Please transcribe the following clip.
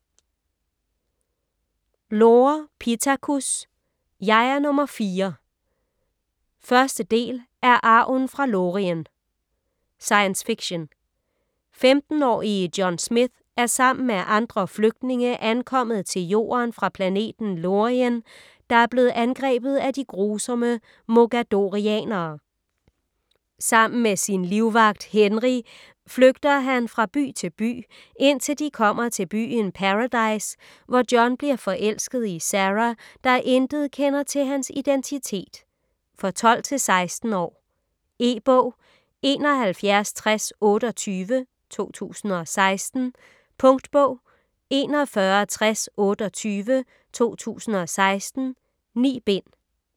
Lore, Pittacus: Jeg er nummer fire 1. del af Arven fra Lorien. Science fiction. 15-årige John Smith er sammen med andre flygtninge ankommet til Jorden fra planeten Lorien, der er blevet angrebet af de grusomme mogadorianere. Sammen med sin livvagt, Henri flygter han fra by til by, indtil de kommer til byen Paradise, hvor John bliver forelsket i Sara, der intet kender til hans identitet. For 12-16 år. E-bog 716028 2016. Punktbog 416028 2016. 9 bind.